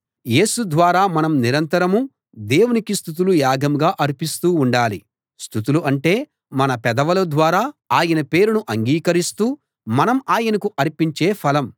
యేసు ద్వారా మనం నిరంతరం దేవునికి స్తుతులు యాగంగా అర్పిస్తూ ఉండాలి స్తుతులు అంటే మన పెదవుల ద్వారా ఆయన పేరును అంగీకరిస్తూ మనం ఆయనకు అర్పించే ఫలం